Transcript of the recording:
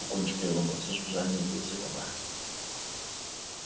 у кончика его носа с жужжанием вился комар